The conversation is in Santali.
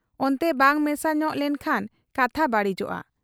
ᱚᱱᱛᱮ ᱵᱟᱝ ᱢᱮᱥᱟ ᱧᱚᱜ ᱞᱮᱱ ᱠᱷᱟᱱ ᱠᱟᱛᱷᱟ ᱵᱟᱹᱲᱤᱡᱚᱜ ᱟ ᱾